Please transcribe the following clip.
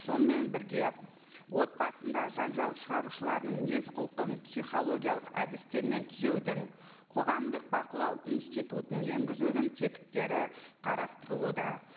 сонымен бірге отбасында жанжал шығарушыларының мінез құлқын психологиялық әдістермен түзеудің қоғамдық бақылау институтын енгізудің тетіктері қарастырылуда